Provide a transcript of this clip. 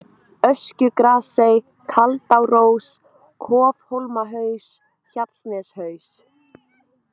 Öskjugrasey, Kaldárós, Kofhólmahaus, Hjallsneshaus